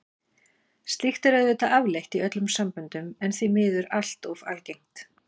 Slíkt er auðvitað afleitt í öllum samböndum en því miður allt of algengt.